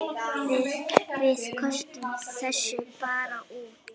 Við köstum þessu bara út.